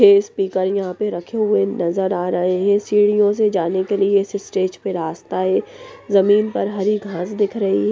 ये स्पीकर यहाँ पर रखे हुए नजर आ रहे हैं सीढ़ियों से जाने के लिए इस स्टेज पर रास्ता हैं जमीन पर हरी घास दिख रही हैं ।